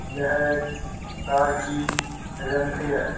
यह एक कार की एजेंसी है।